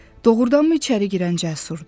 Doğrudanmı içəri girən Cəsurdu?